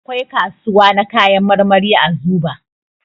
Akwai kasuwa na kayan marmari a Zuɓa.